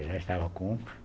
Eu já estava com